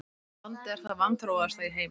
Hvaða land er það vanþróaðasta í heimi?